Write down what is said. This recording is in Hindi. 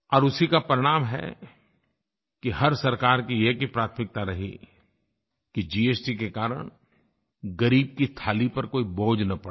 और उसी का परिणाम है कि हर सरकार की एक ही प्राथमिकता रही कि जीएसटी के कारण ग़रीब की थाली पर कोई बोझ न पड़े